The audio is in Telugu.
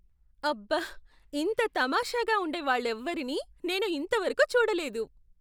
అబ్బ! ఇంత తమాషాగా ఉండే వాళ్ళెవారినీ నేను ఇంత వరకు చూడలేదు!